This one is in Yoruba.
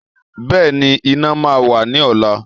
Bẹ́ẹ̀ni, iná máa wà ní ọ̀la